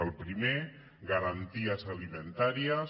el primer garanties alimentàries